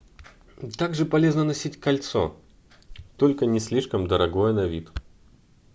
также полезно носить кольцо только не слишком дорогое на вид